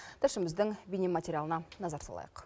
тілшіміздің бейнематериалына назар салайық